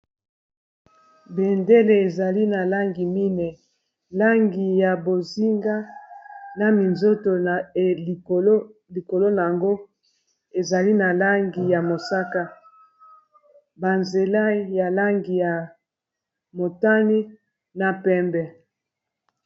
Bendele ezali na langi mineyi, langi ya bozinga na minzoto, likolo na yango ezali na langi ya mosaka, banzela ya langi ya motani na pembe.